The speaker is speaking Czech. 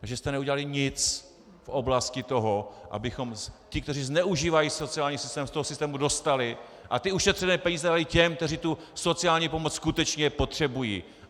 Takže jste neudělali nic v oblasti toho, abychom ty, kteří zneužívají sociální systém, z toho systému dostali a ty ušetřené peníze dali těm, kteří tu sociální pomoc skutečně potřebují.